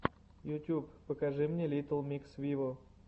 ютюб покажи мне литтл микс виво